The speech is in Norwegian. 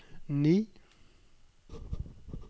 ni